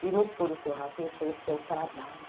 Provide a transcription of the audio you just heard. Se não for o seu rateio, foi o seu trabalho.